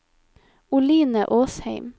Oline Åsheim